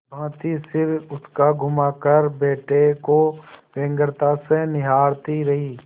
भाँति सिर उचकाघुमाकर बेटे को व्यग्रता से निहारती रही